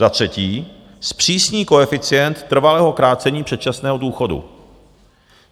Za třetí zpřísní koeficient trvalého krácení předčasného důchodu.